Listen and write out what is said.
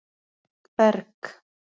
Berg